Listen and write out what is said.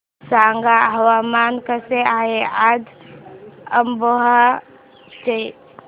सांगा हवामान कसे आहे आज अमरोहा चे